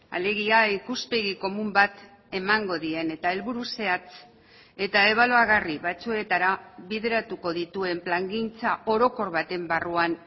alegia ikuspegi komun bat emango dien eta helburu zehatz eta ebaluagarri batzuetara bideratuko dituen plangintza orokor baten barruan